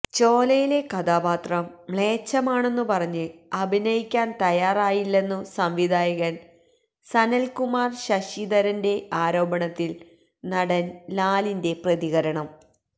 ചോലയിലെ കഥാപാത്രം മ്ലേച്ഛമാണെന്നു പറഞ്ഞ് അഭിനയിക്കാന് തയ്യാറായില്ലെന്ന സംവിധായകന് സനല്കുമാര് ശശിധരന്റെ ആരോപണത്തില് നടന് ലാലിന്റെ പ്രതികരണം